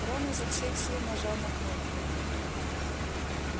рон изо всех сил нажал на кнопку